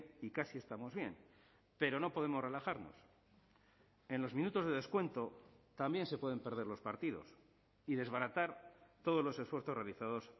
y casi estamos bien pero no podemos relajarnos en los minutos de descuento también se pueden perder los partidos y desbaratar todos los esfuerzos realizados